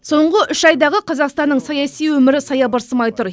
соңғы үш айдағы қазақстанның саяси өмірі саябырсымай тұр